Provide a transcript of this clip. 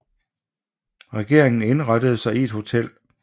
Regeringen indrettede sig i et hotel